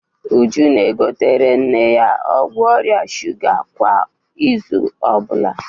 Uju na-egotere nne ya ọgwụ ọrịa shuga kwa izu ọ bụla.